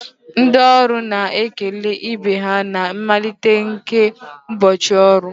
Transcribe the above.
Ndị ọrụ na-ekele ibe ha na mmalite nke ụbọchị ọrụ